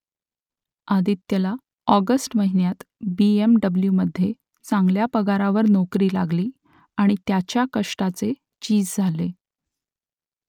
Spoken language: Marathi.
आदित्यला ऑगस्ट महिन्यात बी एम डब्ल्यू मध्ये चांगल्या पगारावर नोकरी लागली आणि त्याच्या कष्टाचे चीज झाले